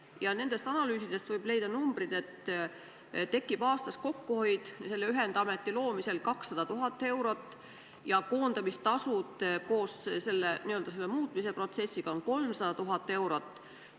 Ja nendest analüüsidest võib leida, et ühendameti loomisel tekib kokkuhoid 200 000 eurot, protsessiga seotud koondamistasud on 300 000 eurot.